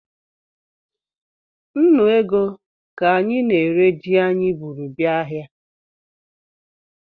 Nnụ ego ka anyị na-ere ji anyị bụrụ bịa ahịa